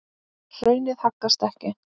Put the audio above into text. Hraunið haggast ekki.